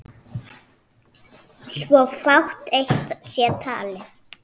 svo fátt eitt sé talið.